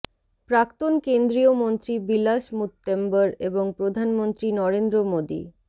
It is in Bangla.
প্রাক্তন কেন্দ্রীয় মন্ত্রী বিলাস মুত্তেম্বর এবং প্রধানমন্ত্রী নরেন্দ্র মোদি